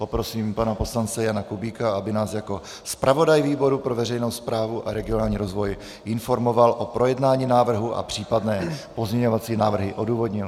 Poprosím pana poslance Jana Kubíka, aby nás jako zpravodaj výboru pro veřejnou správu a regionální rozvoj informoval o projednání návrhu a případné pozměňovací návrhy odůvodnil.